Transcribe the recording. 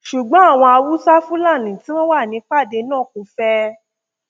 ṣùgbọn àwọn haúsáfúlálí tí wọn wà nípàdé náà kò fẹ